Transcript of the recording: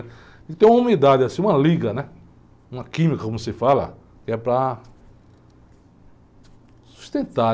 Ele tem uma umidade, assim, uma liga, uma química, como se fala, que é para sustentar.